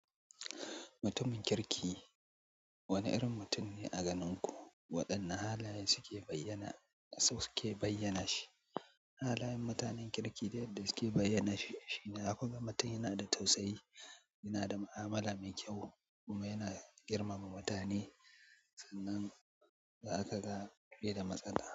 Mutumin kirki wane irin mutum ne a ganin ku? Waɗanne halaye suke bayyana, suke bayyana shi? Halayen mutanen kirki da yadda suke bayyana shi shine zaku ga mutum yana da tausayi, yana da mu'amala mai kyau kuma yana girmama mutane sannan za kaga bai da matsala.